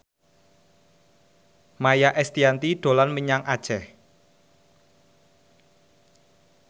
Maia Estianty dolan menyang Aceh